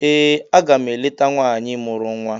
Ee! Aga m eleta nwaanyị mụrụ nwa.